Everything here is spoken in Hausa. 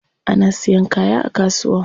Ana siyan kaya a kasuwa.